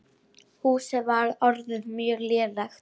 Húsið var orðið mjög lélegt.